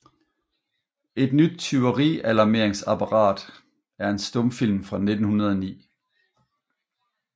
Et nyt Tyverialarmeringsapparat er en stumfilm fra 1909